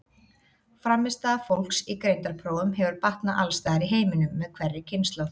Frammistaða fólks í greindarprófum hefur batnað alls staðar í heiminum með hverri kynslóð.